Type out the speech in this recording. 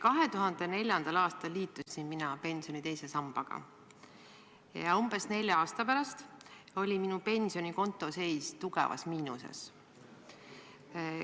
2004. aastal liitusin mina pensioni teise sambaga ja umbes nelja aasta pärast oli minu pensionikonto seis tugevas miinuses.